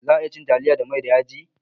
Za'a iya cin taliya da mai da yaji